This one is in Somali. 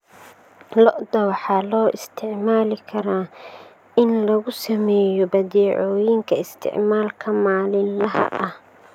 Lo'da waxaa loo isticmaali karaa in lagu sameeyo badeecooyinka isticmaalka maalinlaha ah.